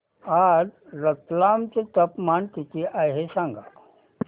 आज रतलाम चे तापमान किती आहे सांगा